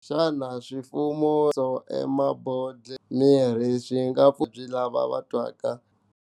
Xana swifaniso emabodhleleni ya mirhi swi nga pfuna njhani vavabyi lava va twaka.